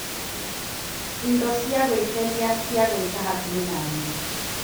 Indo cia gũkenia cia gwĩka hakuhĩ naniĩ .